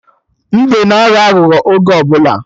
Mbe na aghọ aghụghọ oge ọbụla